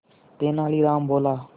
तेनालीराम बोला